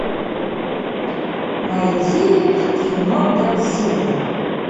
найди кино годзилла